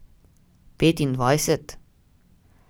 Petindvajset?